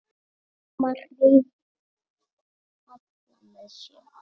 Mamma hreif alla með sér.